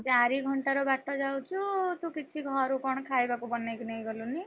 ଚାରି ଘଣ୍ଟାର ବାଟ ଯାଉଚୁ ତୁ କିଛି ଘରୁ କଣ ଖାଇବାକୁ ବନେଇକି ନେଇଗଲୁଣି।